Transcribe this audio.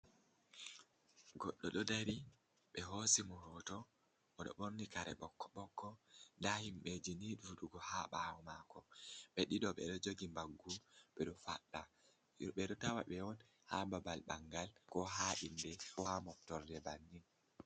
Goddo ɗo dari ɓe hosi mo hoto, o ɗo ɓorni kare ɓokko-ɓokko. Nda himbeji ni ɗuɗugo ha ɓaawo mako, ɓe dido ɓe ɗo jogi mbaggu ɓe ɗo faɗɗa. Ɓe ɗo tawa ɓe on ha babal ɓangal, ko ha inde, ko ha moftorde bannin.